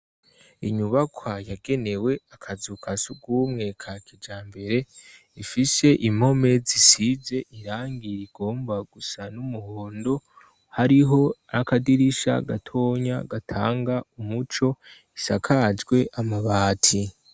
Inyubakwa yagenewe akazukasugumwe ka kija mbere ifishe impome zisize irangira igomba gusa n'umuhondo hariho akadirisha gatonya gatanga umuco isakajwe amabati.